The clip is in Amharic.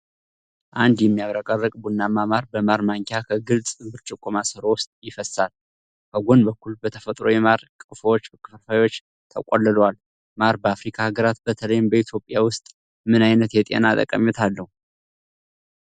አንድ የሚያብረቀርቅ ቡናማ ማር በማር ማንኪያ ከግልጽ ብርጭቆ ማሰሮ ውስጥ ይፈስሳል። ከጎን በኩል በተፈጥሮ የማር ቀፎዎች ክፍልፋዮች ተቆልለዋል። ማር በአፍሪካ ሀገራት በተለይም በኢትዮጵያ ውስጥ ምን ዓይነት የጤና ጠቀሜታ አለው?